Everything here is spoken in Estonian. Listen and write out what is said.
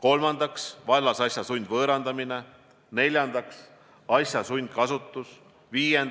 Öeldakse, et ärge paanitsege, ärge koormake arste, teste me teeme siis, kui on vaja.